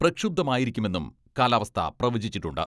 പ്രക്ഷുബ്ധമായിരിക്കുമെന്നും കാലാവസ്ഥ പ്രവചിച്ചിട്ടുണ്ട്.